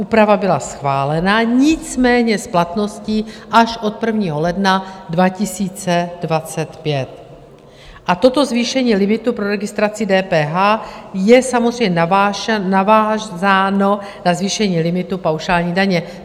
Úprava byla schválena, nicméně s platností až od 1. ledna 2025, a toto zvýšení limitu pro registraci DPH je samozřejmě navázáno na zvýšení limitu paušální daně.